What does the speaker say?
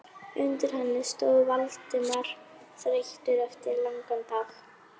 Undir henni stóð Valdimar, þreyttur eftir langan dag.